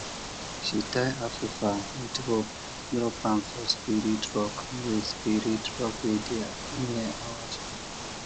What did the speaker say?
she tie afufa with rope drop am for spirit rock wey spirit rock wey dey near our farm